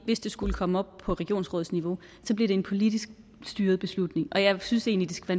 hvis det skulle komme op på regionsrådsniveau så bliver en politisk styret beslutning og jeg synes egentlig det skal